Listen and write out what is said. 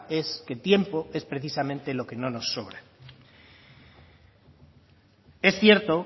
es que tiempo es precisamente lo que no nos sobra es cierto